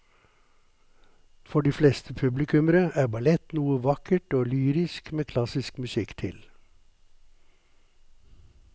For de fleste publikummere er ballett noe vakkert og lyrisk med klassisk musikk til.